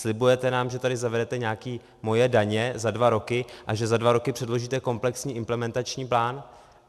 Slibujete nám, že tady zavedete nějaké Moje daně za dva roky a že za dva roky předložíte komplexní implementační plán.